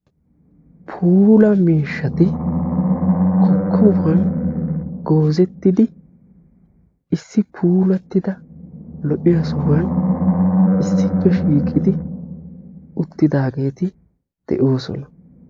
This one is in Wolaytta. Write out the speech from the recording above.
puula miishshati kokobiyan goozzettidi puulattida lo'iya sohuwan issippe shiiqqidi uttidaageeti de'oosona.